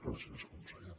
gràcies conseller